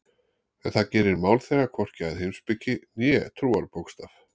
En það gerir mál þeirra hvorki að heimspeki né trúarbókstaf.